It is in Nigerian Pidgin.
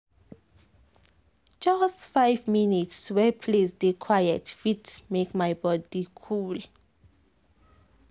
just five minutes wey place dey quiet fit make my body cool.